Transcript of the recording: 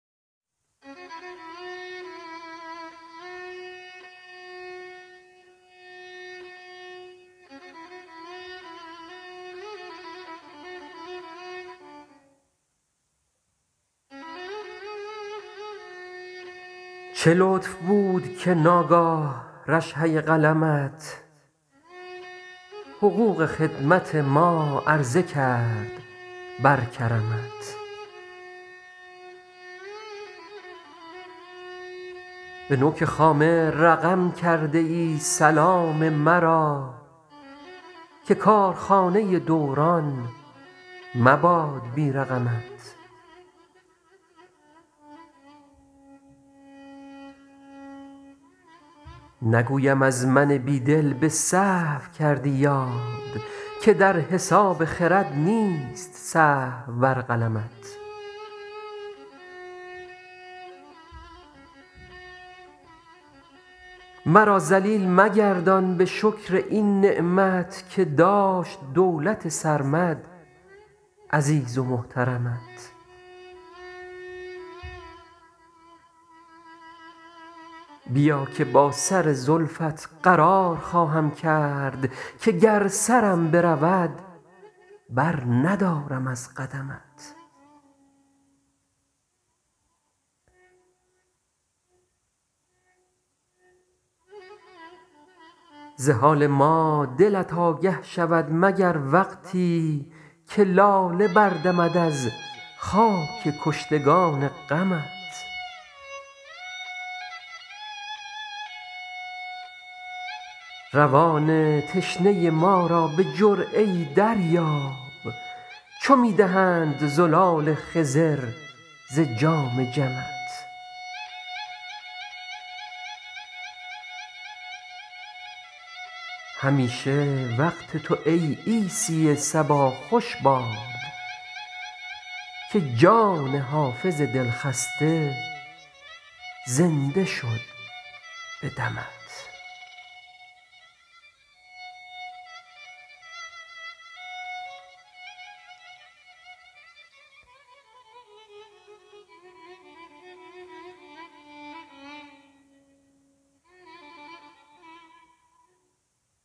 چه لطف بود که ناگاه رشحه قلمت حقوق خدمت ما عرضه کرد بر کرمت به نوک خامه رقم کرده ای سلام مرا که کارخانه دوران مباد بی رقمت نگویم از من بی دل به سهو کردی یاد که در حساب خرد نیست سهو بر قلمت مرا ذلیل مگردان به شکر این نعمت که داشت دولت سرمد عزیز و محترمت بیا که با سر زلفت قرار خواهم کرد که گر سرم برود برندارم از قدمت ز حال ما دلت آگه شود مگر وقتی که لاله بردمد از خاک کشتگان غمت روان تشنه ما را به جرعه ای دریاب چو می دهند زلال خضر ز جام جمت همیشه وقت تو ای عیسی صبا خوش باد که جان حافظ دلخسته زنده شد به دمت